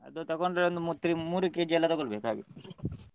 ಅದು ತೊಗೊಂಡ್ರೆ ಒಂದು ಮೂರ್ three ಮೂರು kg ಎಲ್ಲ ತೊಗೊಳ್ಬೇಕು ಹಾಗೆ.